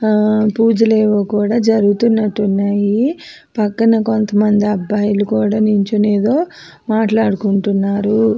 పూజ లేవో కూడా జరుగుతున్నట్టు ఉన్నాయి. పక్కన కొంతమంది అబ్బాయిలు కూడా నించొని ఏదో మాట్లాడుకుంటున్నారు.